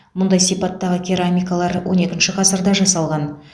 мұндай сипаттағы керамикалар он екінші ғасырда жасалған